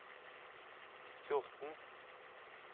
fjorten